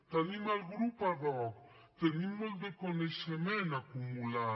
tenim el grup ad hoc tenim molt de coneixement acumulat